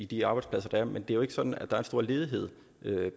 de arbejdspladser der er men det er jo ikke sådan at der er en stor ledighed